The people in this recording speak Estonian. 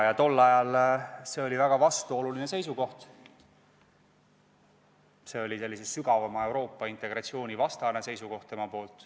Tol ajal see oli väga vastuoluline seisukoht – see oli sellise sügavama Euroopa integratsiooni vastane seisukoht.